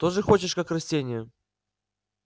тоже хочешь как растение